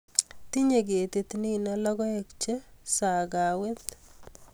tinyei ketit nino logoek che sakawet